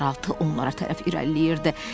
Bir neçə qaraltı onlara tərəf irəliləyirdi.